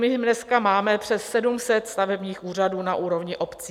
My dneska máme přes 700 stavebních úřadů na úrovni obcí.